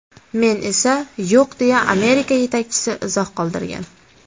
Men esa yo‘q”, deya Amerika yetakchisi izoh qoldirgan.